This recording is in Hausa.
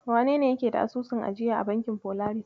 Wanene yake da asusun ajiya a bankin Folaris?